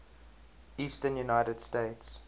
eastern united states